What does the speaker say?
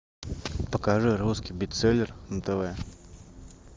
покажи русский бестселлер на тв